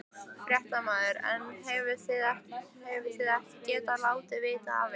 Fréttamaður: En hefðuð þið ekki getað látið vita af ykkur?